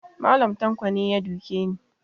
Mallam tanko ne ya duke ni